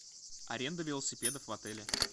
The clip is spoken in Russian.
аренда велосипедов в отеле